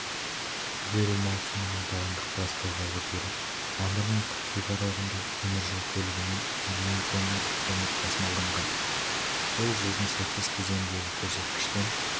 жылу беру маусымына дайындық басталғалы бері мамыр мен қыркүйек аралығында теміржол көлігімен миллион тонна көмір тасымалданған ол жылдың сәйкес кезеңіндегі көрсеткіштен